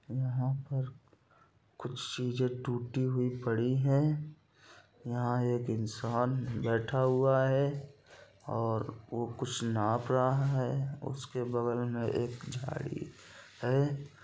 यहाँ पर कुछ चीजें टूटी हुई पड़ी है| यहाँ एक इंसान बैठा हुआ है और वो कुछ नाप रहा है उसके बगल मे एक झाड़ी है।